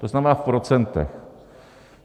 To znamená v procentech.